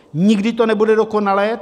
Nikdy to nebude dokonalé.